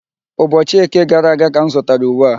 Ụbọchị Eke gara aga ka m zụtara uwe a.